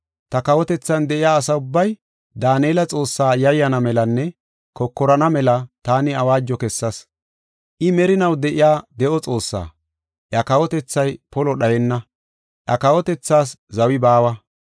“Ta kawotethan de7iya asa ubbay Daanela Xoossaa yayyana melanne kokorana mela taani awaajo kessas. “I merinaw de7iya de7o Xoossaa; iya kawotethay polo dhayenna; iya kawotethaas zawi baawa.